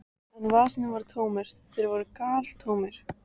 En vasarnir voru tómir, þeir voru galtómir.